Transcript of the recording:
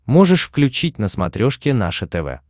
можешь включить на смотрешке наше тв